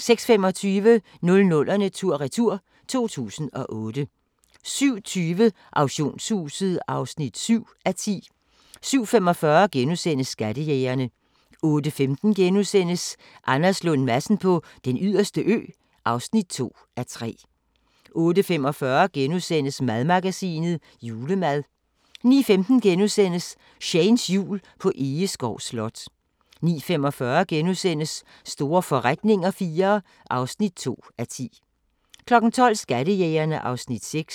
06:25: 00'erne tur-retur: 2008 07:20: Auktionshuset (7:10) 07:45: Skattejægerne * 08:15: Anders Lund Madsen på Den Yderste Ø (2:3)* 08:45: Madmagasinet: Julemad * 09:15: Shanes Jul på Egeskov Slot * 09:45: Store forretninger IV (2:10)* 12:00: Skattejægerne (Afs. 6)